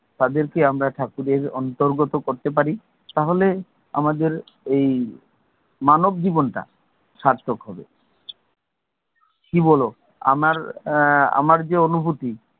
তাদেরকে আমরা ঠাকুরের অন্তর্গত করতে পারি তাহলে আমাদের এই মানব জীবন টা সার্থক হবে, কি বলও, আমার আহ আমার যে অনুভুতি,